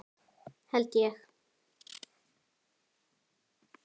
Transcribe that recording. Held ég!